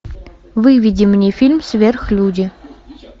выведи мне фильм сверхлюди